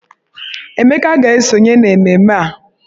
Emeka ga-esonye n'ememme a.